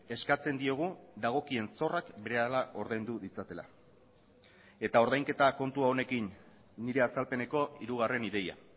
eskatzen diogu dagokien zorrak berehala ordaindu ditzatela eta ordainketa kontu honekin nire azalpeneko hirugarren ideia